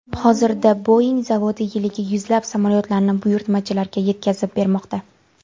Hozirda Boing zavodi yiliga yuzlab samolyotlarni buyurtmachilarga yetkazib bermoqda.